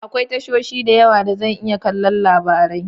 Akwai tashoshi da yawa da zan iya kallon labarai.